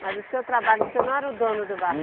Mas o seu trabalho, você não era o dono do barco?